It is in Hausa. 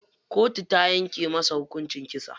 Kotu ta yanke masa hukunci kisa.